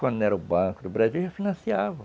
Quando não era o Banco do Brasil, já financiava.